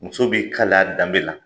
Muso b'i kali a danbe la.